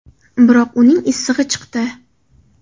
Biroq uning issig‘i chiqdi.